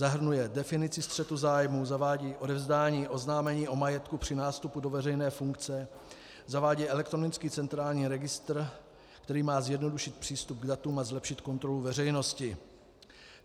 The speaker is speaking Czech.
Zahrnuje definici střetu zájmů, zavádí odevzdání oznámení o majetku při nástupu do veřejné funkce, zavádí elektronický centrální registr, který má zjednodušit přístup k datům a zlepšit kontrolu veřejnosti.